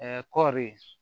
kɔɔri